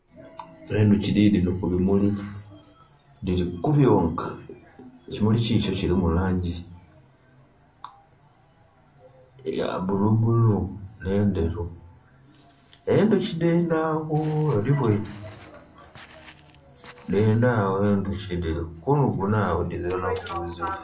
Enduki didhino ku bimuli dhiri ku byonka. Ekimuli kikyo ki mu langi eya bulu bulu ne ndheru. Endhuki dendha agho, odhibweine? Dhenda agho endhuki dhiri kunhuguna agho dhizira naku buzibu.